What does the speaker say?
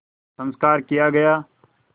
संस्कार किया गया